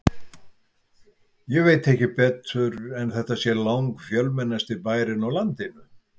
Ég veit ekki betur en þetta sé langfjölmennasti bærinn á landinu.